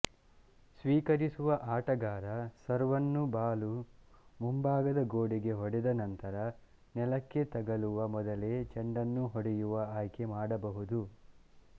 ಸ್ವೀಕರಿಸುವ ಆಟಗಾರ ಸರ್ವನ್ನು ಬಾಲು ಮುಂಭಾದ ಗೋಡೆಗೆ ಹೊಡೆದ ನಂತರ ನೆಲಕ್ಕೆ ತಗುಲುವ ಮೊದಲೇ ಚೆಂಡನ್ನು ಹೊಡೆಯುವ ಆಯ್ಕೆ ಮಾಡಬಹುದು